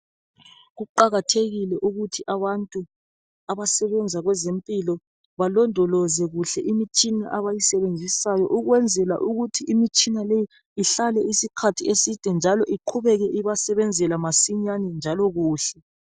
Kuqakathekile ukuthi abantu abasebenza kwezempilo balondoloze kuhle imitshina abayisebenzisayo ukwenzela ukuthi imitshina leyi ihlale isikhathi eside njalo iqhubeke ibasebenzela masinyane njalo kuhle